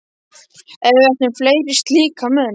Ef við ættum fleiri slíka menn